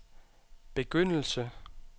begyndelse